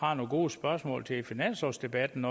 har nogle gode spørgsmål til finanslovsdebatten